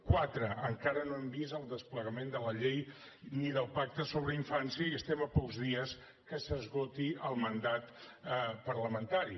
quatre encara no hem vist el desplegament de la llei ni del pacte per a la infància i estem a pocs dies que s’esgoti el mandat parlamentari